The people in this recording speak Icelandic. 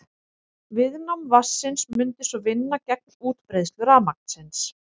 Viðnám vatnsins mundi svo vinna gegn útbreiðslu rafmagnsins.